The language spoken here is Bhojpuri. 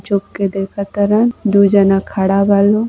जोकि देखतरन। दु जाना खड़ा बा लोग।